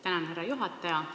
Tänan, härra juhataja!